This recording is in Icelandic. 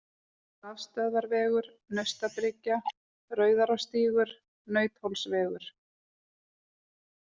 Rafstöðvarvegur, Naustabryggja, Rauðarárstígur, Nauthólsvegur